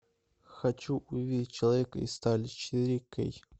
хочу увидеть человека из стали четыре кей